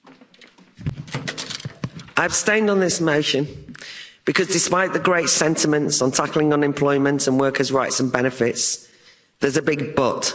Madam President, I abstained on this motion because despite the great sentiments on tackling unemployment and workers' rights and benefits, there's a big but'.